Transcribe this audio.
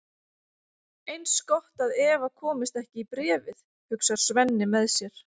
Eins gott að Eva komist ekki í bréfið, hugsar Svenni með sér.